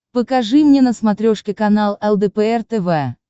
покажи мне на смотрешке канал лдпр тв